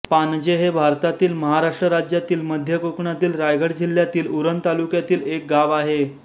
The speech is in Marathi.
पाणजे हे भारतातील महाराष्ट्र राज्यातील मध्य कोकणातील रायगड जिल्ह्यातील उरण तालुक्यातील एक गाव आहे